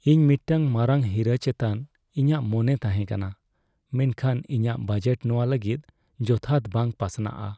ᱤᱧ ᱢᱤᱫᱴᱟᱝ ᱢᱟᱨᱟᱝ ᱦᱤᱨᱟᱹ ᱪᱮᱛᱟᱱ ᱤᱧᱟᱹᱜ ᱢᱚᱱᱮ ᱛᱟᱸᱦᱮ ᱠᱟᱱᱟ, ᱢᱮᱱᱠᱷᱟᱱ ᱤᱧᱟᱹᱜ ᱵᱟᱡᱮᱴ ᱱᱚᱶᱟ ᱞᱟᱹᱜᱤᱫ ᱡᱚᱛᱷᱟᱛ ᱵᱟᱝ ᱯᱟᱥᱱᱟᱜᱼᱟ ᱾